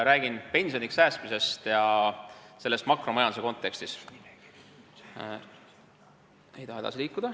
Räägin pensioniks säästmisest ja teen seda makromajanduse kontekstis.